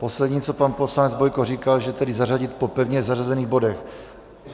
Poslední, co pan poslanec Bojko říkal, že tedy zařadit po pevně zařazených bodech.